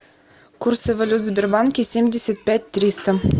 курсы валют в сбербанке семьдесят пять триста